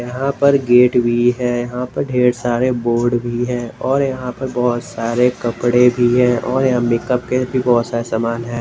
यहां पर गेट भी है यहां पर ढेर सारे बोर्ड भी है और यहां पर बहुत सारे कपड़े भी है और यहां मेकअप के भी बहुत सारे सामान है।